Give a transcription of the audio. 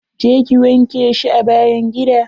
Je ki wanke shi a bayn gida.